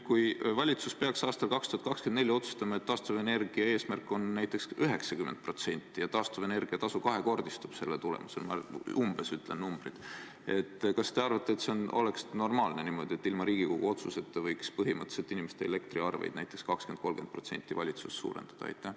Kui valitsus peaks aastal 2024 otsustama, et taastuvenergia eesmärk on näiteks 90% ja taastuvenergia tasu kahekordistub selle tulemusena – ma umbes ütlesin numbrid –, kas te arvate, et oleks normaalne, et ilma Riigikogu otsuseta võiks valitsus põhimõtteliselt inimeste elektriarveid siis näiteks 20–30% suurendada?